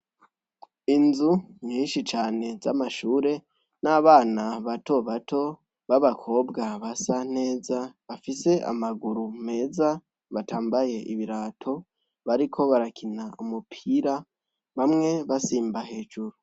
Inzu nyinshi cane z' amashure n'abana bato bato b'abakobwa basa neza bafise amaguru meza batambaye ibirato bariko barakina umupira bamwe basimba hejuru.